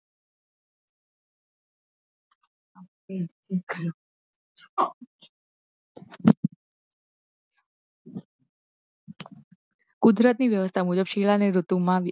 કુદરતી વ્યવસ્થા મુજબ શિયાળા ની ઋતુ મા